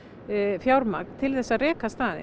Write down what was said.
fjármagn til að reka staðinn